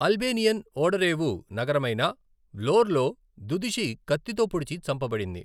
Albanian ఓడరేవు నగరమైన వ్లోర్లో దుదుషి కత్తితో పొడిచి చంపబడింది.